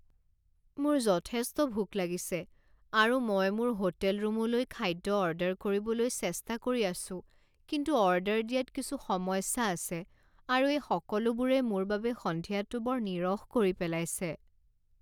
মোৰ যথেষ্ট ভোক লাগিছে আৰু মই মোৰ হোটেল ৰুমলৈ খাদ্য অৰ্ডাৰ কৰিবলৈ চেষ্টা কৰি আছোঁ কিন্তু অৰ্ডাৰ দিয়াত কিছু সমস্যা আছে আৰু এই সকলোবোৰে মোৰ বাবে সন্ধিয়াটো বৰ নিৰস কৰি পেলাইছে।